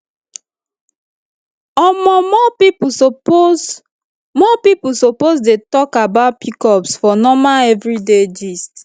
omo more people suppose more people suppose dey talk about pcos for normal everyday gist